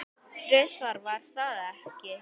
Þrisvar, var það ekki?